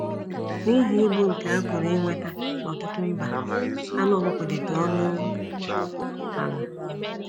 N’ihi ịbụ nke a pụrụ inweta n’ọtụtụ mba, anụ ọkụkọ dịtụ ọnụ ala.